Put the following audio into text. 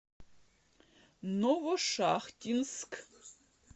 новошахтинск